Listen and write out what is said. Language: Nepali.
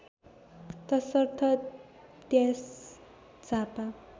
तसर्थ त्यस झापा